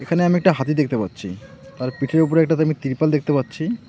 এখানে আমি একটা হাতি দেখতে পাচ্ছি তার পিঠের ওপরে একটা আমি ত্রিপল দেখতে পাচ্ছি।